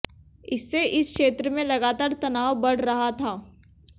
इससे इस क्षेत्र में लगातार तनाव बढ़ रहा था